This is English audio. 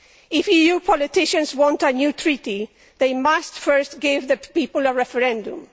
If EU politicians want a new treaty, they must first give the people a referendum.